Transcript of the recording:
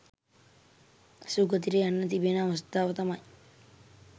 සුගතියට යන්න තිබෙන අවස්ථාව තමයි